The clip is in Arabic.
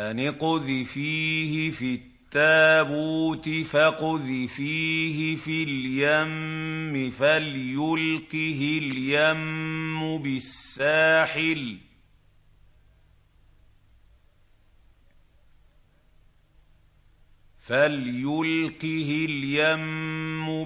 أَنِ اقْذِفِيهِ فِي التَّابُوتِ فَاقْذِفِيهِ فِي الْيَمِّ فَلْيُلْقِهِ الْيَمُّ